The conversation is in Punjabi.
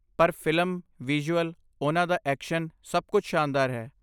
ਪਰ ਫਿਲਮ, ਵਿਜ਼ੂਅਲ, ਉਨ੍ਹਾਂ ਦਾ ਐਕਸ਼ਨ, ਸਭ ਕੁਝ ਸ਼ਾਨਦਾਰ ਹੈ।